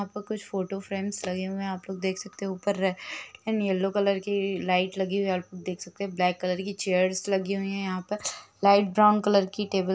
यहाँ पर कुछ फोटो फ्रेम्स लगे हुए हैं आप लोग देख सकते हैं ऊपर रेड एंड येल्लो कलर की लाइट लगी हुई है और देख सकते हे ब्लैक कलर की चेयर्स लगी हुई है यहाँ पर लाइट ब्राउन कलर की टेबल --